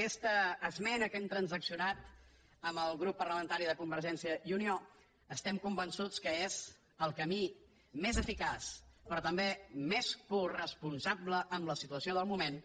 aquesta esmena que hem transaccionat amb el grup parlamentari de convergència i unió estem convençuts que és el camí més eficaç però també més coresponsable en la situació del moment